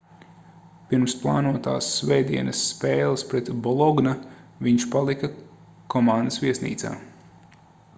pirms plānotās svētdienas spēles pret ¨bologna¨ viņš palika komandas viesnīcā